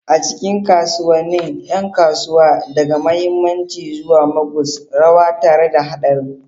A cikin kasuwannin, yan kasuwa, daga mahammaci zuwa moguls, rawa tare da hadarin.